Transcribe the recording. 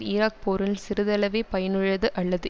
Iraq போரில் சிறிதளவே பயனுள்ளது அல்லது